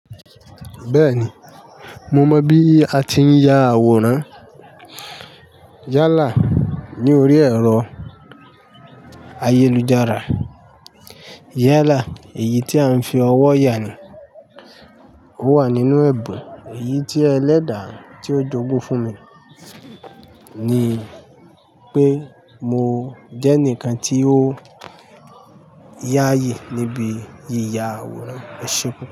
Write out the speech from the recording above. Bẹ́ẹ̀ni, mo mọ̀ bí a ti ń ya àwòrán. Yálà ní orí ẹ̀rọ ayélujára. Yálà èyí tí a ń fi ọwọ́ ya ni. Ó wà nínú ẹ̀bùn. Èyí tí ẹlẹ́dà tí ó jogún fún mi ni pé mo jẹ́nìkan tí ó yáyì níbi yíya àwòrán. Ẹ ṣéun pu.